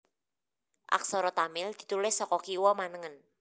Aksara Tamil ditulis saka kiwa manengen